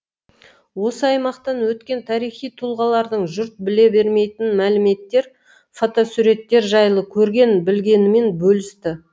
осы аймақтан өткен тарихи тұлғалардың жұрт біле бермейтін мәліметтер фотосуреттер жайлы көрген білгенімен бөлісті